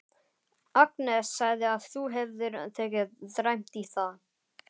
Agnes sagði að þú hefðir tekið dræmt í það.